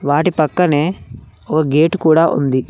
వాటి పక్కనే ఓ గేటు కూడా ఉంది.